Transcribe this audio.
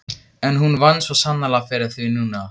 En hún vann svo sannarlega fyrir því núna.